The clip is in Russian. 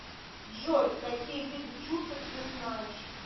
джой какие виды чусок ты знаешь